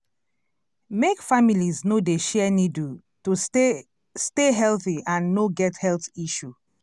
make families no dey share needle to stay stay healthy and no get health issue